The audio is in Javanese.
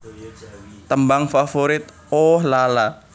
Tembang Favorit Ooh La La